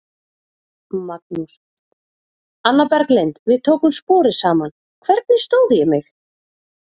Magnús: Anna Berglind, við tókum sporið saman, hvernig stóð ég mig?